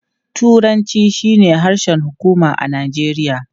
Turanci shine harshen hukuma a Najeriya.